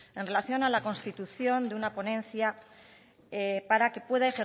en relación a la constitución de una ponencia para que pueda